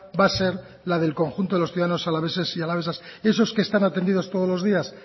va a ser la del conjunto de los ciudadanos alaveses y alavesas esos que están atendidos todos los días